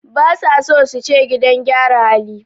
Basa son suce gidan gyara hali